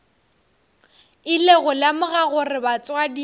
ile go lemoga gore batswadi